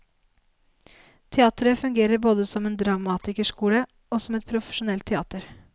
Teateret fungerer både som en dramatikerskole og som et profesjonelt teater.